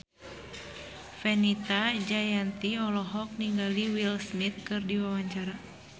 Fenita Jayanti olohok ningali Will Smith keur diwawancara